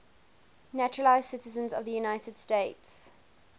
naturalized citizens of the united states